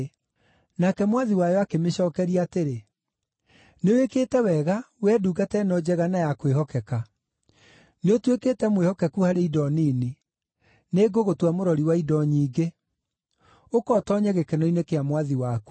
“Nake mwathi wayo akĩmĩcookeria atĩrĩ, ‘Nĩwĩkĩte wega, wee ndungata ĩno njega na ya kwĩhokeka! Nĩũtuĩkĩte mwĩhokeku harĩ indo nini; nĩ ngũgũtua mũrori wa indo nyingĩ. Ũka ũtoonye gĩkeno-inĩ kĩa Mwathi waku!’